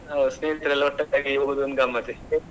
ಹೌದು ಸ್ನೇಹಿತರೆಲ್ಲ ಒಟ್ಟಿಗೆ ಹೋಗುದು ಒಂದು ಗಮ್ಮತ್ತೆ.